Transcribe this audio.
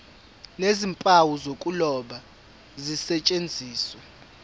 nezimpawu zokuloba zisetshenziswe